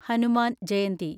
Hanuman Jayanti